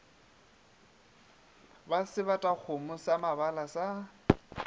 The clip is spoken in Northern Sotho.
ba sebatakgomo sa mabala le